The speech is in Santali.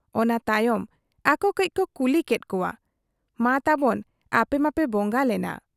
ᱚᱱᱟ ᱛᱟᱭᱚᱢ ᱟᱠᱚ ᱠᱟᱹᱡᱽ ᱠᱚ ᱠᱩᱞᱤ ᱠᱮᱫ ᱠᱚᱣᱟ 'ᱢᱟ ᱛᱟᱵᱚᱱ ᱟᱯᱮ ᱢᱟᱯᱮ ᱵᱚᱝᱝᱟ ᱞᱮᱱᱟ ᱾